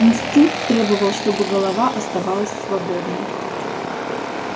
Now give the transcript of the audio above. инстинкт требовал чтобы голова оставалась свободной